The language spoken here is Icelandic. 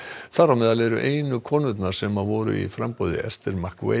þar á meðal eru einu konurnar sem voru í framboði Esther